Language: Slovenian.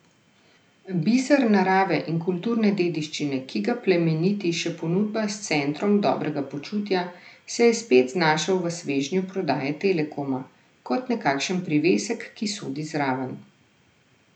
Biser narave in kulturne dediščine, ki ga plemeniti še ponudba s centrom dobrega počutja, se je spet znašel v svežnju prodaje Telekoma, kot nekakšen privesek, ki sodi zraven.